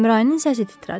Əmrayinin səsi titrədi.